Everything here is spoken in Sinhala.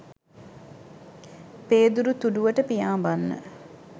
පේදුරු තුඩුවට පියාඹන්න